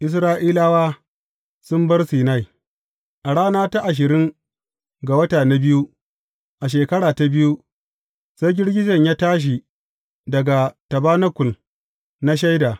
Isra’ilawa sun bar Sinai A rana ta ashirin ga wata na biyu, a shekara ta biyu, sai girgijen ya tashi daga tabanakul na Shaida.